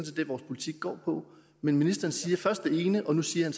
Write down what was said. det vores politik går ud på men ministeren siger først det ene og nu siger